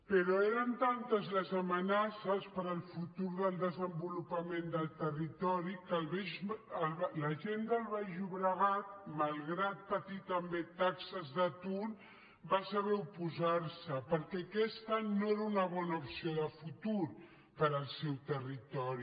però eren tantes les amenaces per al futur del desenvolupament del territori que la gent del baix llobregat malgrat patir també taxes d’atur va saber oposar s’hi perquè aquesta no era una bona opció de futur per al seu territori